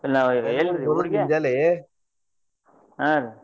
ಹಾ ರೀ.